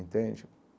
Entende?